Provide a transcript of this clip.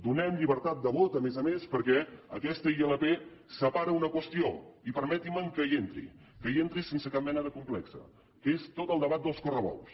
donem llibertat de vot a més a més perquè aquesta ilp separa una qüestió i permetin me que hi entri que hi entri sense cap mena de complex que és tot el debat dels correbous